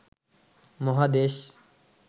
মহাদেশ